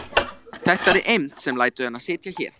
Þessari eymd sem lætur hana sitja hér.